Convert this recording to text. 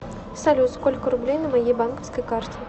салют сколько рублей на моей банковской карте